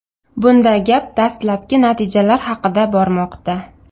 Bunda gap dastlabki natijalar haqida bormoqda.